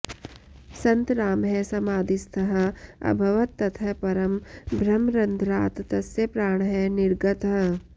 सन्तरामः समाधिस्थः अभवत् ततः परं ब्रह्मरन्ध्रात् तस्य प्राणः निर्गतः